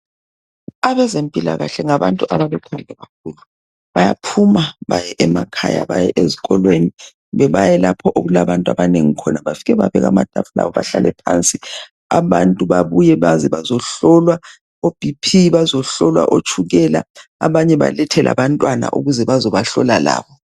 Bayaphuma baye emakhaya kumbe baye ezikolweni lapho okulabantu abanengi khona bafike babele amatafula abantu babuye baze hloe